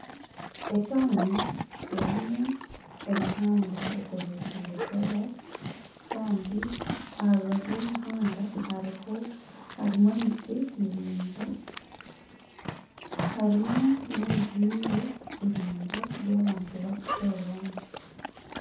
Etawuni erimu emihanda ekozesiibwe koraasi kandi aha rubaju rw'emihanda harimu emiti miraingwa kandi n'ebizimbe biraingwa by'abantu barikukoreramu.